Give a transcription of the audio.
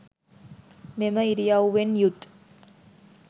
මෙම ඉරියව්වෙන් යුත්